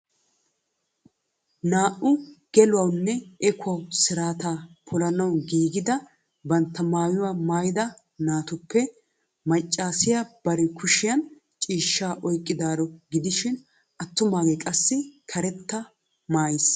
Naa"u gelawunne ehuwaa siraata polanaaw giigettidi bantta maayyuwaa maayyida naatuppe maccassiya bari kushiyaan ciishshsa oyqqadaro gidishin attumaage qassi karetta maayyiis.